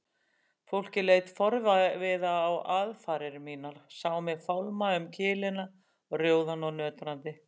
Fólkið leit forviða á aðfarir mínar, sá mig fálma um kilina rjóðan og nötrandi.